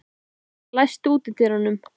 Birtir, læstu útidyrunum.